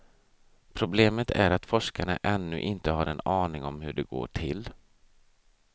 Problemet är att forskarna ännu inte har en aning om hur det går till.